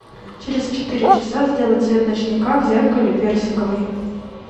через четыре часа сделай цвет ночника в зеркале персиковый